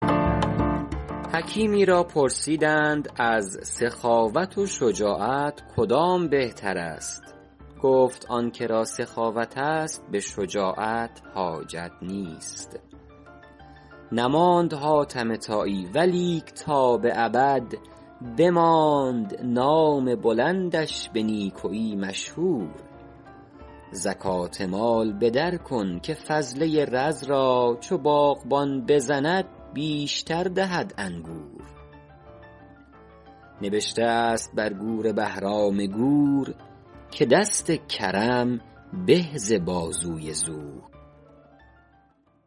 حکیمی را پرسیدند از سخاوت و شجاعت کدام بهتر است گفت آن که را سخاوت است به شجاعت حاجت نیست نماند حاتم طایی ولیک تا به ابد بماند نام بلندش به نیکویی مشهور زکات مال به در کن که فضله رز را چو باغبان بزند بیشتر دهد انگور نبشته است بر گور بهرام گور که دست کرم به ز بازوی زور